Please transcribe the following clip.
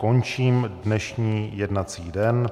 Končím dnešní jednací den.